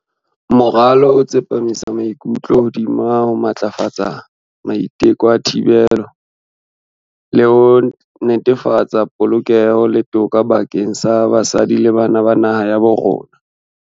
"Moralo o tsepamisa maikutlo hodima ho matlafatsa maiteko a thibelo, le ho netefatsa polokeho le toka bakeng sa basadi le bana ba naha ya bo rona."